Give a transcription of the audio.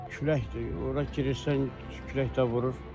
Küləkdir, ora girirsən, külək də vurur.